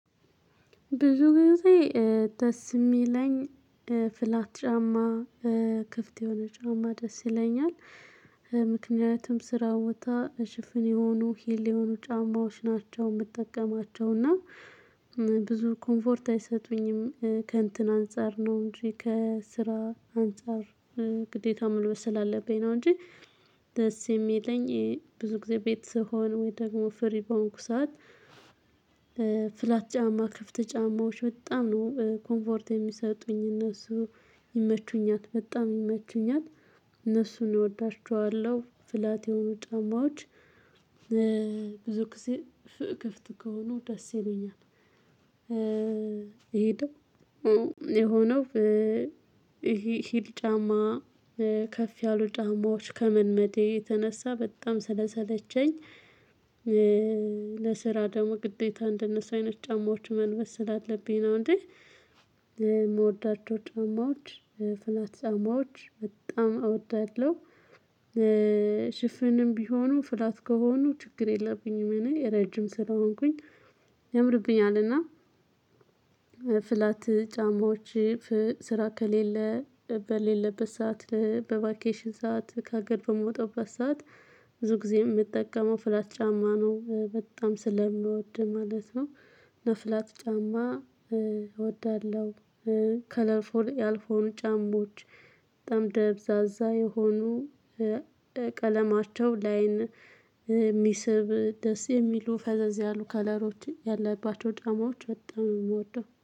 ብዙ ጊዜ ደስ የሚለኝ ፍላት ጫማ ክፍት የሆነ ጫማ ደስ ይለኛል። ምክንያቱም ስራ ቦታ ሽፍን የሆኑ ሂል የሆኑ ጫማዎች ናቸው የምትጠቀማቸው እና። ብዙ ኮምፎርት አይሰጡኝም ከእንትን አንፃር ነው እንጂ ከስራ እንጻር ግዴታ መልበስ ስላለብኝ ነው እንጂ። ደስ የሚለኝ ብዙ ጊዜ ቤት ስሆን ወይ ደግሞ ፍሪ ከሆንኩ ሰዓት። ፍላት ጫማ ክፍት ጫማዎች በጣም ነው ኮንፎርት የሚሰጡኝ እነሱ ይመቹኛት በጣም ይመቹኛት እወዳችኋለሁ ፍላት የሆኑ ጫማዎች። ብዙ ጊዜ ክፍት ከሆኑ ደስ ይለኛል። ይሄ ነው። የሆነው ይሄ ሂል ጫማ ከፍ ያሉ ጫማዎች ከመልመዴ የተነሳ በጣም ስለሰለቸኝ። ለስራ ደግሞ ግዴታ እንደነሱ አይነት ጫማዎች መልበስ ስላለብኝ ነው እንጂ። የምወዳቸው ጫማዎች ፍላታ ጫማዎች በጣም እወዳለሁ። ሽፍንም ቢሆኑ ፍላት ከሆኑ ችግር የለብኝም እኔ ረጅም ስለሆንኩኝ ያምርብኛል። እና ፍላት ጫማዎች ስራ ከሌለ በሌለበት ሰዓት በቫኬሽን ሰዓት ከሀገር በምውጣበት ሰዓት ብዙ ጊዜ የምጠቀመው ፍላት ጫማ ነው በጣም ስለምወድ ማለት ነው። ለፍላት ጫማ እወዳለሁ። ከለር ፉል ያልሆኑ ጫማዎች በጣም ደብዛዛ የሆኑ ቀለማቸው ለአይን የሚስብ ደስ የሚሉ ፈዘዝ ያሉ ከለሮችን ያለባቸው ጣማዎች በጣም ነው የምወደው